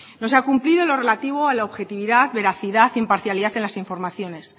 no se ha cumplido lo relativo a la objetividad veracidad e imparcialidad en las informaciones